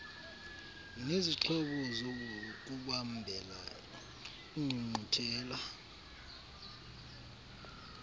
nezixhobo zokubambela iingqungquthela